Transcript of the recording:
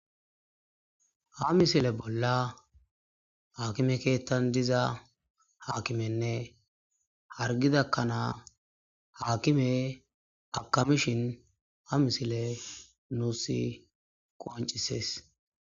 Ha misile bollani akime kethani diza akimeyinne hariggidda kanna akimeyi akamishini ha misileyi nusi qonccisesi.